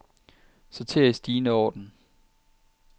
Sorter i stigende orden.